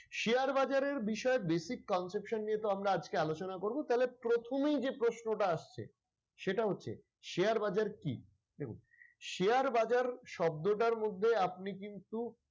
share বাজারের বিষয়ে basic conception নিয়ে তো আমরা আজকে আলোচনা করবো তাইলে প্রথমেই যে প্রশ্ন টা আসছে সেটা হচ্ছে share বাজার কি? দেখুন share বাজার শব্দটার মধ্যে আপনি কিন্তু,